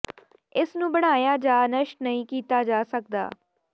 ਇਸ ਨੂੰ ਬਣਾਇਆ ਜਾਂ ਨਸ਼ਟ ਨਹੀਂ ਕੀਤਾ ਜਾ ਸਕਦਾ